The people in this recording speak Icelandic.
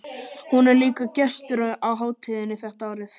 Hún er líka gestur á hátíðinni þetta árið.